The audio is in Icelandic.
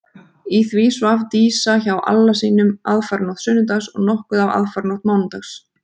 Í því svaf Dísa hjá Alla sínum aðfaranótt sunnudags og nokkuð af aðfaranótt mánudags.